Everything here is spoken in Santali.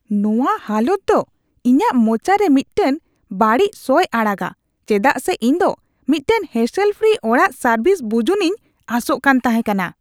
ᱱᱚᱶᱟ ᱦᱟᱞᱚᱛ ᱫᱚ ᱤᱧᱟᱜ ᱢᱚᱪᱟᱨᱮ ᱢᱤᱫᱴᱟᱝ ᱵᱟᱹᱲᱤᱡ ᱥᱚᱭ ᱟᱲᱟᱜᱼᱟ ᱪᱮᱫᱟᱜ ᱥᱮ ᱤᱧ ᱫᱚ ᱢᱤᱫᱴᱟᱝ ᱦᱮᱥᱮᱞ ᱯᱷᱨᱤ ᱚᱲᱟᱜ ᱥᱟᱹᱨᱵᱷᱤᱥ ᱵᱩᱡᱩᱱᱤᱧ ᱟᱥᱚᱜ ᱠᱟᱱ ᱛᱟᱦᱮᱸ ᱠᱟᱱᱟ ᱾